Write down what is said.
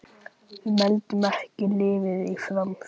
Við mældum ekki lífið í framförum.